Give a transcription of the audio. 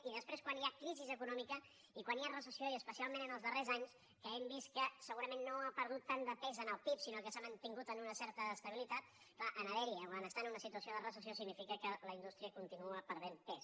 i després quan hi ha crisi econòmica i quan hi ha recessió i especialment els darrers anys que hem vist que segurament no ha perdut tant de pes en el pib sinó que s’ha mantingut en una certa estabilitat clar en haver hi o en estar en una situació de recessió significa que la indústria continua perdent pes